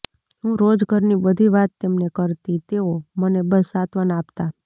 હું રોજ ઘરની બધી વાત તેમને કરતી તેઓ મને બસ સાંત્વના આપતા